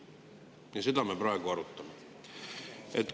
Ja seda me praegu arutame.